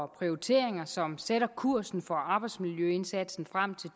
prioriteringer som sætter kursen for arbejdsmiljøindsatsen frem til